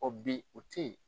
bi o tɛ yen.